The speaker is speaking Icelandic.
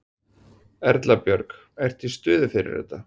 Erla Björg: Ertu í stuði fyrir þetta?